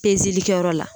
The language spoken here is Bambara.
Pezeli kɛyɔrɔ la